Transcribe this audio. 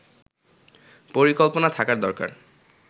পরিকল্পনা থাকা দরকার